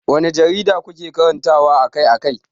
Wanne jarida kuke karantawa akai-akai?